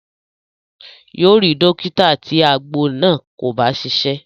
Yóò rí dọ́kítà tí àgbo náà kò bá ṣiṣẹ́.